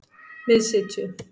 Miðsitju